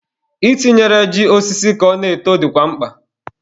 I tinyere ji osisi ka ọ na-eto dịkwa mkpa.